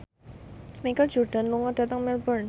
Michael Jordan lunga dhateng Melbourne